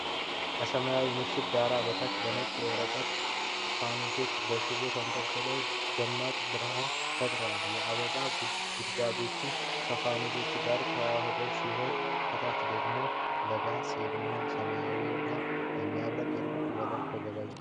ከሰማያዊ ምሽት ዳራ በታች ነጭ የወረቀት ፋኖሶች (lanterns) በሽቦ ተንጠልጥለው ደማቅ ብርሃን ፈጥረዋል። የአበባ ጉንጉኖች ከፋኖሶቹ ጋር የተዋሃዱ ሲሆን፣ ከታች ደግሞ ለዳንስ የሚሆን ሰማያዊና የሚያብረቀርቅ ወለል ተዘርግቷል።